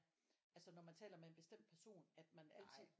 Altså når man taler med en bestemt person at man altid